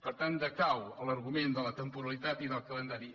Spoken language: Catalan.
per tant decau l’argument de la temporalitat i del calendari